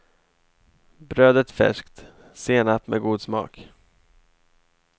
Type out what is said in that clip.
Brödet färskt, senap med god smak.